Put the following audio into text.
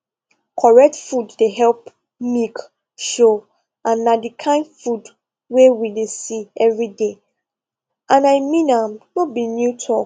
correct food dey help milk show and na the kind food wey we dey see every day and i mean am no be new talk